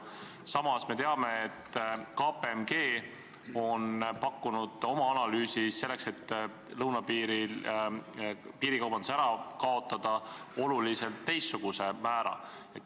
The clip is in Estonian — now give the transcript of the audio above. Samas me teame, et KPMG on oma analüüsis pakkunud selleks, et lõunapiiril piirikaubandus ära kaotada, hoopis teistsuguse määra.